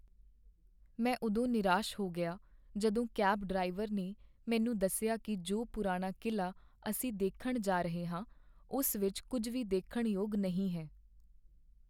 ਮੈਂ ਉਦੋਂ ਨਿਰਾਸ਼ ਹੋ ਗਿਆ ਜਦੋਂ ਕੈਬ ਡਰਾਈਵਰ ਨੇ ਮੈਨੂੰ ਦੱਸਿਆ ਕੀ ਜੋ ਪੁਰਾਣਾ ਕਿਲ੍ਹਾ ਅਸੀਂ ਦੇਖਣ ਜਾ ਰਹੇ ਹਾਂ ਉਸ ਵਿੱਚ ਕੁੱਝ ਵੀ ਦੇਖਣ ਯੋਗ ਨਹੀਂ ਹੈ